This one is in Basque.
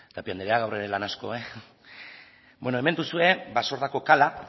tapia andrea gaur ere lan asko beno hemen duzue basordako kala